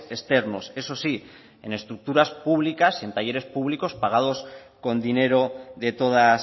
externos eso sí en estructuras públicas y en talleres públicos pagados con dinero de todas